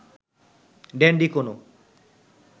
dandy কোনও